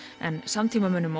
en samtímamönnum